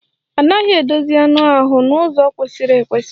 A naghị edozi anụ ahụ n'ụzọ kwesịrị ekwesị.